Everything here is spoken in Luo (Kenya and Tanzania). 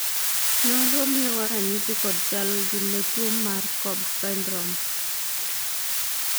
nonro miyowa ranyisi kod chal gi ne tuo mar cobb syndrome